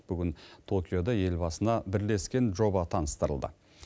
бүгін токиода елбасына бірлескен жоба таныстырылды